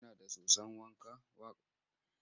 Kina da soson wa ka?